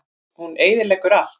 Hún eyðileggur allt.